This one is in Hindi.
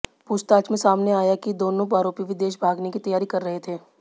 पूछताछ में सामने आया है कि दोनों आरोपी विदेश भागने की तैयारी कर रहे थे